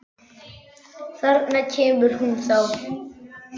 Þarna kemur hún þá!